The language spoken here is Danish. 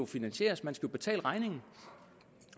finansieres man skal betale regningen